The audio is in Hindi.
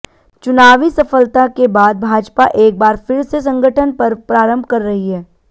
चुनावी सफलता के बाद भाजपा एक बार फिर से संगठन पर्व प्रारंभ कर रही है